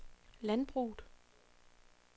landbruget